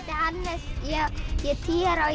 er tíu ára